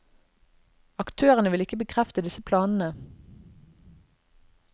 Aktørene vil ikke bekrefte disse planene.